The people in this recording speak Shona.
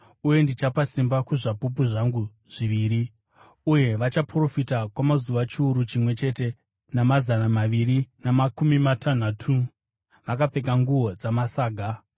Uye ndichapa simba kuzvapupu zvangu zviviri, uye vachaprofita kwamazuva chiuru chimwe chete namazana maviri namakumi matanhatu, vakapfeka nguo dzamasaga.”